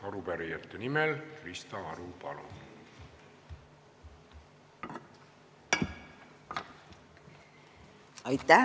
Arupärijate nimel Krista Aru, palun!